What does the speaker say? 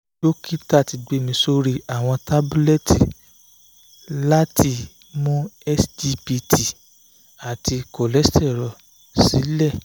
dokita ti gbe mi sori awọn tabulẹti lati awọn tabulẹti lati mu sgpt ati cholestrol silẹ